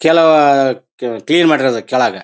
ಕೆಳಗೆ ಅಹ್ ಕ್ಲೀನ್ ಮಾಡಿರೋದು ಕೆಳಗೆ